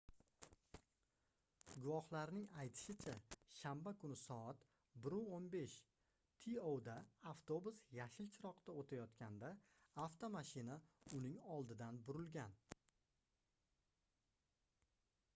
guvohlarning aytishicha shanba kuni soat 1:15 to da avtobus yashil chiroqda o'tayotganda avtomashina uning oldidan burilgan